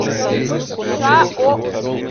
шаоу